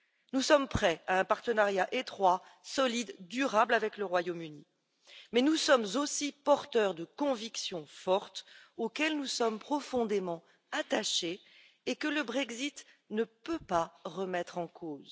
Nous sommes prêts à un partenariat étroit, solide, durable avec le Royaume Uni, mais nous sommes aussi porteurs de convictions fortes auxquelles nous sommes profondément attachés et que le Brexit ne peut remettre en cause.